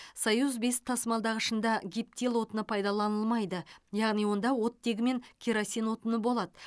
союз бес тасымалдағышында гептил отыны пайдаланылмайды яғни онда оттегі мен керосин отыны болады